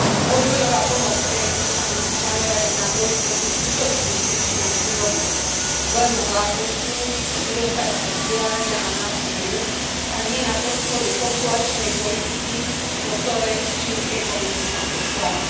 Rozvojová pomoc EÚ sa musí zamerať na boj proti skutočným príčinám chudoby zlému vládnutiu, nedostatku vzdelania a násiliu, a nie na podporu populačnej politiky po vzore čínskej komunistickej strany.